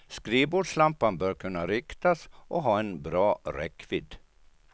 Skrivbordslampan bör kunna riktas och ha en bra räckvidd.